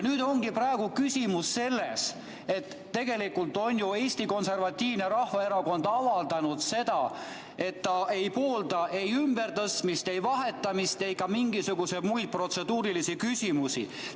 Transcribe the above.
Nüüd ongi küsimus selles, et tegelikult on ju Eesti Konservatiivne Rahvaerakond avaldanud, et ta ei poolda ei ümbertõstmist, vahetamist ega ka mingisuguseid muid protseduurilisi tegevusi.